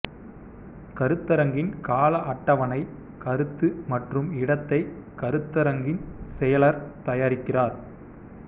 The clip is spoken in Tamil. கருத்தரங்கின் கால அட்டவணை கருத்து மற்றும் இடத்தை கருத்தரங்கின் செயலர் தயாரிக்கிறார்